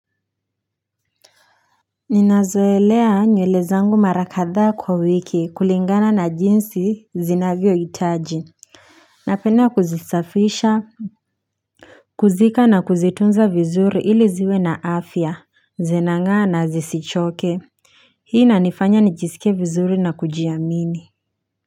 Ninazoelea nywele zangu mara kadhaa kwa wiki kulingana na jinsi zinavyo hitaji napenda kuzisafisha kuzika na kuzitunza vizuri ili ziwe na afya zinangaa na zisichoke hii inanifanya nijisikie vizuri na kujiamini.